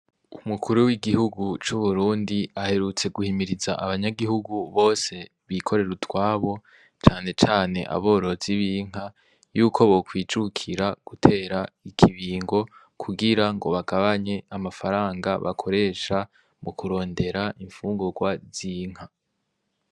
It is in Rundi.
Umukuru w'igihugu c'uburundi aherutse guhimiriza abanyagihugu bose bikorera utwabo cane cane aborozi b'inka yuko bokwijukira gutera ikibingo kugira ngo bagabanye amafaranga bakoresha mu kurondera imfungurwa z'inka.